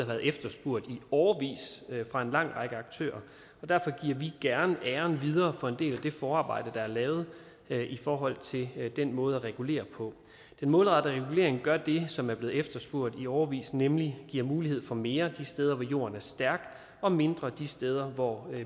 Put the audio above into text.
været efterspurgt i årevis af en lang række aktører og derfor giver vi gerne æren videre for en del af det forarbejde der er lavet i forhold til den måde at regulere på den målrettede regulering gør det som er blevet efterspurgt i årevis nemlig at give mulighed for mere de steder hvor jorden er stærk og mindre de steder hvor